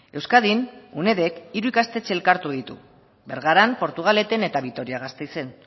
euskadin unedk hiru ikastetxe elkartu ditu bergaran portugaleten eta vitoria gasteizen